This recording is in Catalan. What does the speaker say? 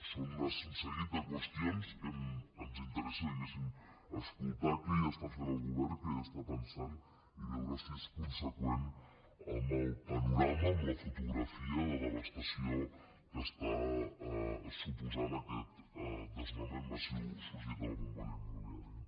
són un seguit de qüestions que ens interessa diguéssim escoltar què hi està fent el govern què hi estan pensant i veure si és conseqüent amb el panorama amb la fotografia de devastació que suposa aquest desnonament massiu sorgit de la bombolla immobiliària